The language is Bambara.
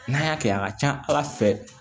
N'an y'a kɛ a ka ca ala fɛ